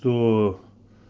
кто